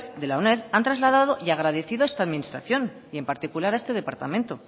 de la uned han trasladado y agradecido a esta administración y en particular a este departamento